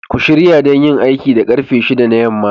Ku shirya don yin aiki da karfe 6 na yamma